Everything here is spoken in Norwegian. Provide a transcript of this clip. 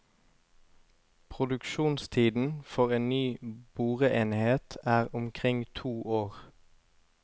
Produksjonstiden for en ny boreenhet er omkring to år.